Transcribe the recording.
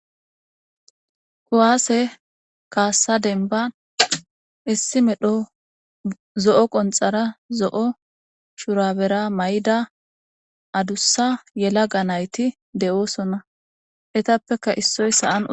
Kuwaase kaassa denban issi medho zo7o qonxara zo7o shurabera may7da adussa yela ga nayti de7oosona etappeka issoyssaan.